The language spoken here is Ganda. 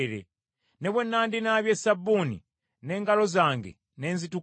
Ne bwe nandinaabye sabbuuni n’engalo zange ne nzitukuza,